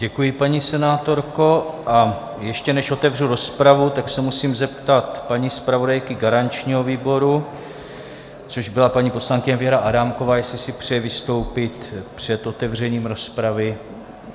Děkuji, paní senátorko, a ještě než otevřu rozpravu, tak se musím zeptat paní zpravodajky garančního výboru, což byla paní poslankyně Věra Adámková, jestli si přeje vystoupit před otevřením rozpravy.